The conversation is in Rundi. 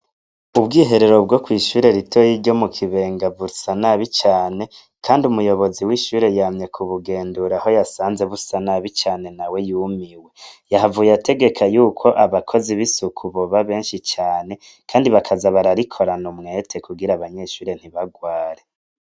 Ubwiherero bwo kw'ishure ritoya ryo mukibenga busa nabi cane, kandi umuyobozi w'ishure yamye kubugendura aho yasanze busa nabi nawe yumiwe, yahavuye ategeka yuko abakozi b'isuku boba benshi cane ,kandi bakaza bararikorana umwete ,kugira abanyeshure ntibarware.